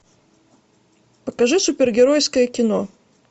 покажи супергеройское кино